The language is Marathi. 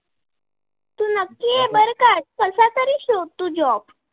तरी शोध त job?